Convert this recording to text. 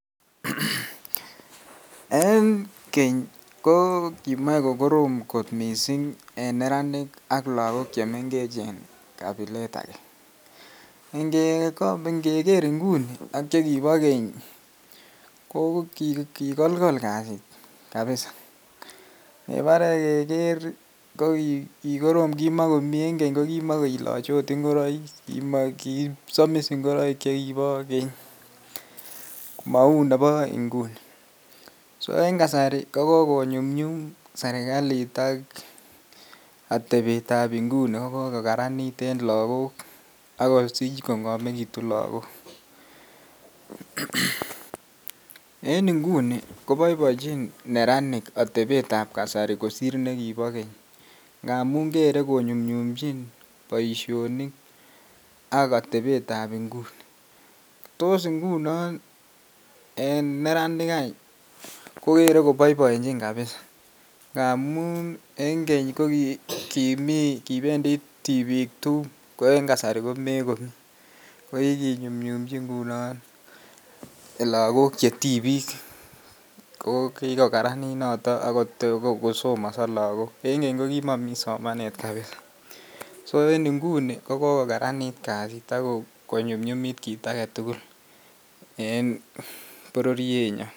En keny kokimoe kokorom kot missing en neranik ak lagok chemengech kabilet age, ngeker inguni ak chekibo keny koo kikolkol kasit kabisa kibore keker en keny kikorom kimo kiloche oot ngoroik, kisomis ngoroik chekibo keny mouu nebo inguni, so en kasari ko kokonyumnyum serikalit ak atebeta nguni ko kokokaranit en lagok akosich kong'omekitu lagok, en nguni koboiboenjin neranik atebetab kasari kosir nekibo keny ngamun kere konyumnyumchin boisionik ak atebetab nguni, tos ngunon en neranik any kokere koboiboenjin ngamun en keny kokibendi tibiik tum ko en kasari komekobendii kokikinyumnyumchi ngunon lakok chetibiik ko kikokaranit noton akosomoso lagok, en keny kokimokomii somanet, so en nguni kokokaranit kasit konyumnyumit kit agetugul en bororienyon.